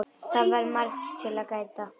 Það var margs að gæta.